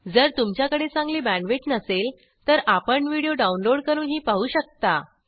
जर तुमच्याकडे चांगली बॅण्डविड्थ नसेल तर आपण व्हिडिओ डाउनलोड करूनही पाहू शकता